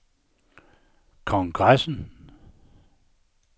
kongressen